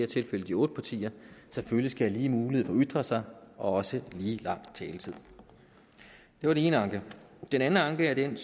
tilfælde de otte partier selvfølgelig skal have lige mulighed for at ytre sig og også lige lang taletid det var den ene anke den anden anke er den